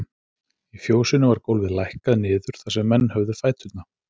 Í fjósinu var gólfið lækkað niður þar sem menn höfðu fæturna.